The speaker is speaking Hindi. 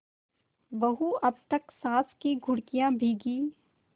बहू अब तक सास की घुड़कियॉँ भीगी